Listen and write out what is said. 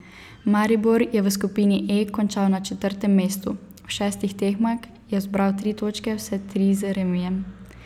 Maribor je v skupini E končal na četrtem mestu, v šestih tekmah je zbral tri točke, vse tri z remijem.